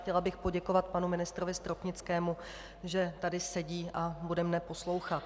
Chtěla bych poděkovat panu ministrovi Stropnickému, že tady sedí a bude mne poslouchat.